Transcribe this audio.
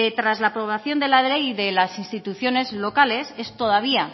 tras la aprobación de la ley de las instituciones locales es todavía